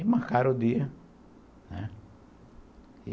Aí marcaram o dia, né.